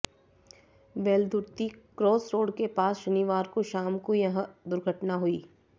Veldurthi cross road के पास शनिवार को शाम को यह दुर्घटना हुई